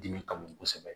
Dimi ka bon kosɛbɛ